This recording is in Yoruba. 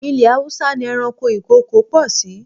Ilẹ̀ Haúsá ni ẹranko ìkokò pọ̀ sí.